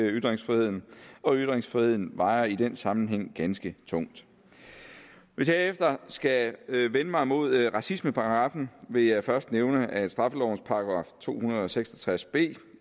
ytringsfriheden og ytringsfriheden vejer i den sammenhæng ganske tungt hvis jeg herefter skal vende mig mod racismeparagraffen vil jeg først nævne at straffelovens § to hundrede og seks og tres b